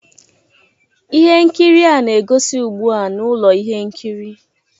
Ihe nkiri a na-egosi ugbu a na ụlọ ihe nkiri